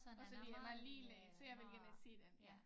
Og så det han er lille så jeg vil gerne se dem ja